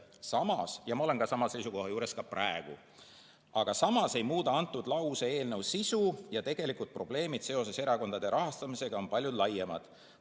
Aga samas – ja ma olen samal seisukohal ka praegu – ei muuda antud lause eelnõu sisu ja tegelikud probleemid seoses erakondade rahastamisega on palju laiemad.